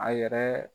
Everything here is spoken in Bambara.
A yɛrɛ